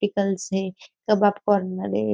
ओपटीक्लस है --